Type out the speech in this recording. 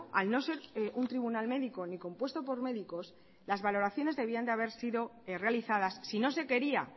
al no ser un tribunal médico ni compuesto por médicos las valoraciones debían de haber sido realizadas si no se quería